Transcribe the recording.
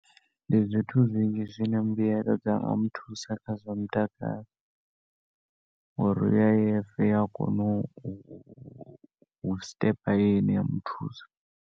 Ndi zwithu zwinzhi zwine mbuelo dza nga muthusa kha zwa mutakalo, ngouri U_I_F i ya kona u sṱepa in ya muthusa.